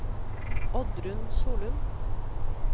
Oddrun Solum